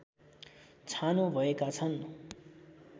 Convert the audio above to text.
छानो भएका छन्